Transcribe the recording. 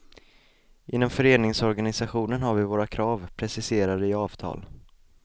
Inom föreningsorganisationen har vi våra krav, preciserade i avtal.